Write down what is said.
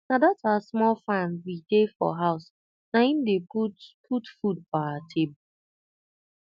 na dat our small farm we dey for house naim dey put put food for our table